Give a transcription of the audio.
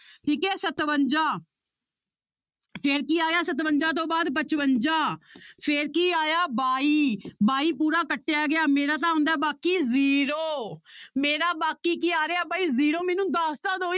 ਠੀਕ ਹੈ ਸਤਵੰਜਾ ਫਿਰ ਕੀ ਆਇਆ ਸਤਵੰਜਾ ਤੋਂ ਬਾਅਦ ਪਚਵੰਜਾ ਫਿਰ ਕੀ ਆਇਆ ਬਾਈ ਬਾਈ ਪੂਰਾ ਕੱਟਿਆ ਗਿਆ ਮੇਰਾ ਤਾਂ ਆਉਂਦਾ ਹੈ ਬਾਕੀ zero ਮੇਰਾ ਬਾਕੀ ਕੀ ਆ ਰਿਹਾ ਬਾਈ zero ਮੈਨੂੰ ਦੱਸ ਤਾਂ ਦਓ